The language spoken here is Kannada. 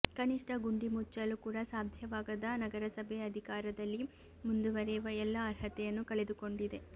ಕನಿಷ್ಠ ಗುಂಡಿ ಮುಚ್ಚಲು ಕೂಡ ಸಾಧ್ಯವಾಗದ ನಗರಸಭೆ ಅಧಿಕಾರದಲ್ಲಿ ಮುಂದುವರೆಯುವ ಎಲ್ಲಾ ಅರ್ಹತೆಯನ್ನು ಕಳೆದುಕೊಂಡಿದೆ